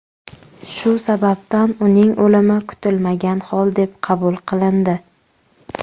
Shu sababdan uning o‘limi kutilmagan hol deb qabul qilindi.